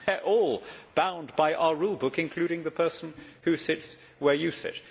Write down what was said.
We are all bound by our rule book, including the person who sits where you sit.